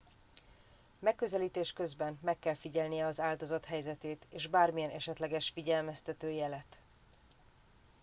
megközelítés közben meg kell figyelnie az áldozat helyzetét és bármilyen esetleges figyelmeztető jelet